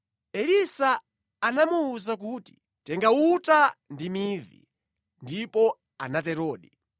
Elisa anamuwuza kuti, “Tenga uta ndi mivi.” Ndipo anaterodi.